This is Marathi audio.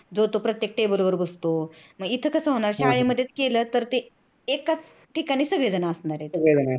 जो तो प्रत्येक table वर बसतो मग इथे कस होणार शाळेमध्येच केल तर एकाच ठिकाणी सगळेजण असणार आहेत